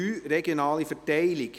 4.3 Regionale Verteilung